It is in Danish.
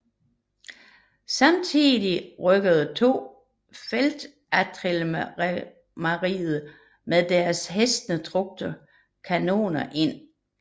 Samtidig rykkede to feltartilleriregimenter med deres hestetrukne kanoner ind